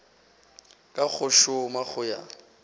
ka go šoma go ya